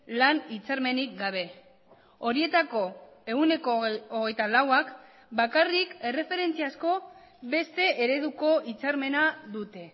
lan hitzarmenik gabe horietako ehuneko hogeita lauak bakarrik erreferentziazko beste ereduko hitzarmena dute